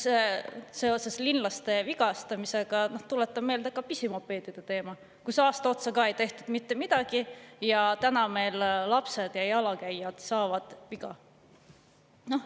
Seoses linlaste vigastamisega tuletan meelde ka pisimopeedide teemat: aasta otsa ei tehtud mitte midagi ja lapsed ja muud jalakäijad saavad viga.